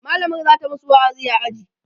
mallamar zata masu wa'azi a aji